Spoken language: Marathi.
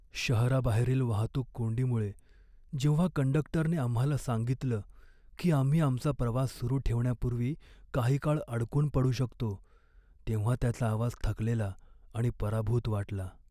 शहराबाहेरील वाहतूक कोंडीमुळे जेव्हा कंडक्टरने आम्हाला सांगितलं की आम्ही आमचा प्रवास सुरू ठेवण्यापूर्वी काही काळ अडकून पडू शकतो, तेव्हा त्याचा आवाज थकलेला आणि पराभूत वाटला.